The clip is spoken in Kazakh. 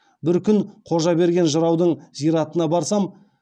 бір күні қожаберген жыраудың зиратына барсам